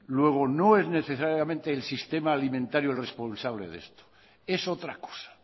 luego no es necesariamente el sistema alimentario el responsable de esto es otra cosa